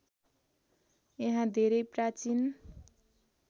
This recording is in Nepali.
यहाँ धेरै प्राचीन